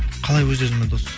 қалай өз өзіме дос